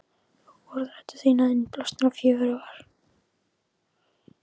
Og orðræður þínar, innblásnar og fjörugar.